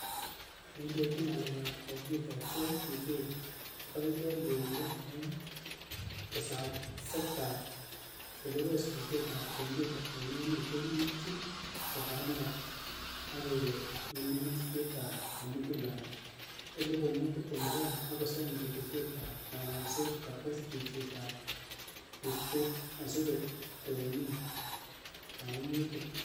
Neindochini ng'alek ap kompyuta Joe Mucheru, ka kaiboor yweindo eng' tesakset ap chelesosnatet ap kompyuta eng' emet yekiitchini refarendam ak kalewenisiet komugul ap 2022, akosam ketesyet ap ng'alalset kotes riibseet asigotoonon kaimutik.